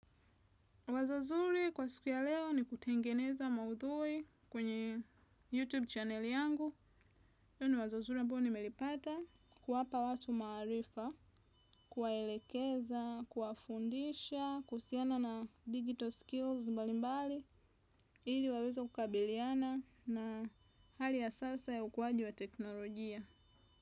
Wazo zuri kwa siku ya leo ni kutengeneza maudhui kwenye YouTube channel yangu. Yaani wazo zuri ambalo nimelipata ni kuwapa watu maarifa, kuwaelekeza, kuwafundisha kuhusiana na digital skills mbali mbali. Ili waweze kukabiliana na hali ya sasa ya ukuaji wa teknolojia.